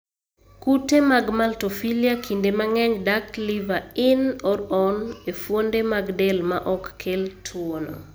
kute mag maltophilia kinde mang'eny dak (liver in or on)e fuonde mag del maok kel tuwono.